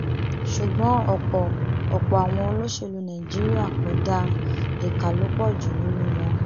ṣùgbọn ọpọ ọpọ àwọn olóṣèlú nàìjíríà kò dáa ìka ló pọ jù nínú wọn